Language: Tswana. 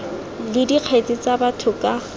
le dikgetse tsa batho ka